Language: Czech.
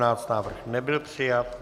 Návrh nebyl přijat.